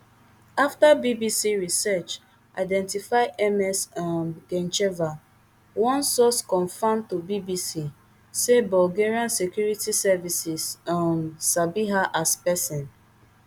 afta bbc research identify identify ms um gencheva one source confam to bbc say bulgarian security services um sabi her as person